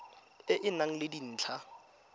e e nang le dintlha